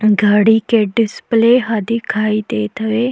घड़ी के डिस्प्ले ह दिखाई देत हवे।